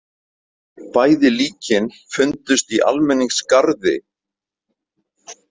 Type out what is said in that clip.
Bæði líkin fundust í almenningsgarði.